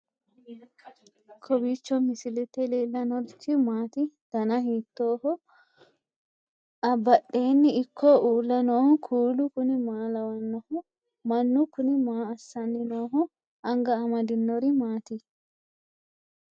kowiicho misilete leellanorichi maati ? dana hiittooho ?abadhhenni ikko uulla noohu kuulu kuni maa lawannoho? mannu kuni maa assani nooho anga amade noori maati